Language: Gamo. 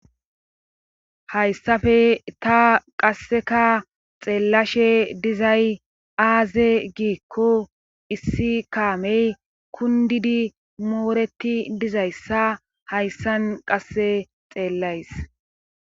hayssafe ta qasseka xeellashe dizay aaze giikko issi kaamey kundidi mooreti dizayssa hayssan qasse xeellays